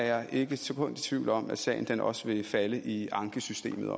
jeg ikke et sekund i tvivl om at sagen også vil falde i ankesystemet